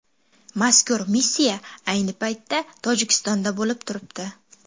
Mazkur missiya ayni paytda Tojikistonda bo‘lib turibdi.